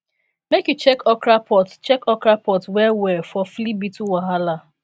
make you check okra pods check okra pods well well for flea beetle wahala